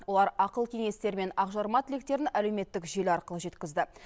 олар ақыл кеңестері мен ақ жарма тілектерін әлеуметтік желі арқылы жеткізді